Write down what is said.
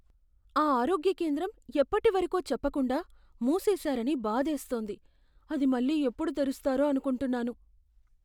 ఆ ఆరోగ్య కేంద్రం ఎప్పటివరకో చెప్పకుండా మూసేసారని బాధేస్తోంది, అది మళ్లీ ఎప్పుడు తెరుస్తారో అనుకుంటున్నాను.